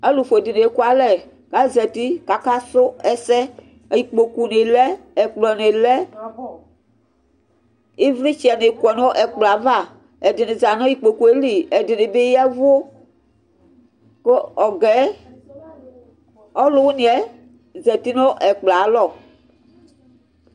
Alʋfue dini ekʋalɛ azati kʋ akasʋ ɛsɛ ikpokʋ ni lɛ ɛkplɔni lɛ ivlitsɛni kɔnʋ ɛkplɔ yɛ ava ɛdini zanʋ ikpokʋ yɛli Ɛdini bi ya ɛvʋ kʋ alʋwini yɛ zati nʋ ɛkplɔ yɛ alɔ